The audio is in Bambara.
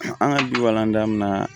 An ka du walandaminan